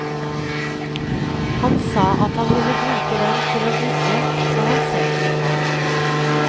Han sa at han ville bruke den til vugge når han selv fikk barn.